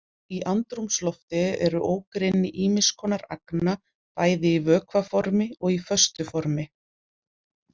Í andrúmslofti eru ógrynni ýmis konar agna bæði í vökva formi og í föstu formi.